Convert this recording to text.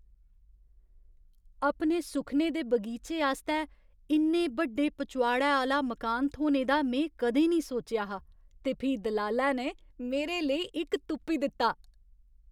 अपने सुखने दे बगीचे आस्तै इन्ने बड्डे पचोआड़ै आह्‌ला मकान थ्होने दा में कदें निं सोचेआ हा, ते फ्ही दलालै ने मेरे लेई इक तुप्पी दित्ता!